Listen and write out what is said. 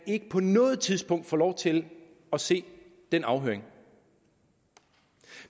ikke på noget tidspunkt kan få lov til at se den afhøring